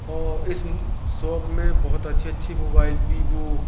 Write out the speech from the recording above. औ इस ऊं शॉप में बहोत अच्छे अच्छे मोबाइल वीवो --